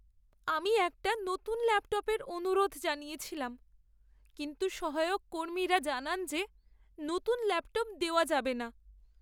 আমি একটা নতুন ল্যাপটপের অনুরোধ জানিয়েছিলাম কিন্তু সহায়ক কর্মীরা জানান যে নতুন ল্যাপটপ দেওয়া যাবে না।